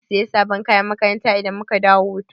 Zaki Siya sabon kayan makaranta idan muka dawo hutu?